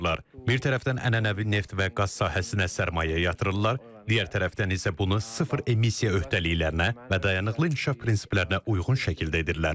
Bir tərəfdən ənənəvi neft və qaz sahəsinə sərmayə yatırırlar, digər tərəfdən isə bunu sıfır emisiya öhdəliklərinə və dayanıqlı inkişaf prinsiplərinə uyğun şəkildə edirlər.